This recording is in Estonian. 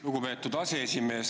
Lugupeetud aseesimees!